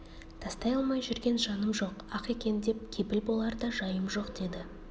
тастай алмай жүрген жаным жоқ ақ екен деп кепіл болар да жайым жоқ деді